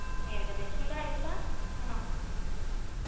ഏകദേശം ഒരാഴ്ച ആണോ